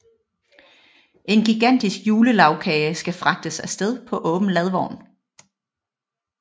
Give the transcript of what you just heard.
En gigantisk julelagkage skal fragtes afsted på åben ladvogn